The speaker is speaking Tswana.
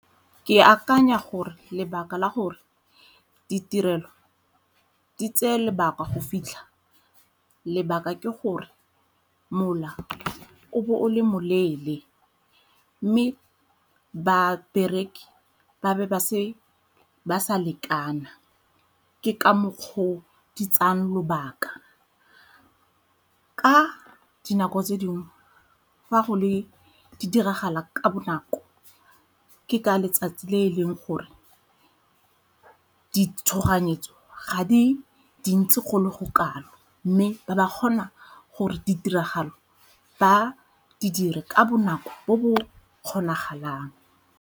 Ke akanya gore lebaka la gore ditirelo di tseye lebaka go fitlha lebaka ke gore mola o be o le mo leele mme babereki ba be ba sa lekana, ke ka mokgwa o di tsayang lobaka. Ka dinako tse dingwe fa go le, di diragala ka bonako ke ka letsatsi le e leng gore di tshoganyetso ga di dintsi go le go kalo mme ba ba kgona gore ditiragalo ba di dire ka bonako bo bo kgonagalang.